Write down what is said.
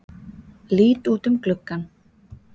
Lít út um gluggann.